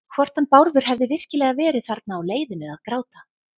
Hvort hann Bárður hefði virkilega verið þarna á leiðinu að gráta.